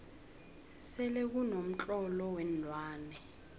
selekuno mtlolo weenlwane